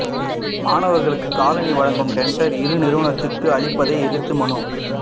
மாணவர்களுக்கு காலணி வழங்கும் டெண்டர் இரு நிறுவனத்துக்கு அளிப்பதை எதிர்த்து மனு